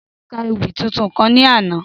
Délé ka ewì tuntun kan ní àná